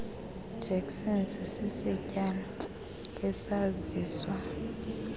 jackson sisityalo esaziswa